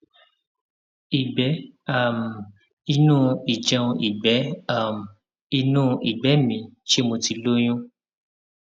ìgbé um inú ìjẹun ìgbé um inú ìgbé inú ṣé mo ti lóyún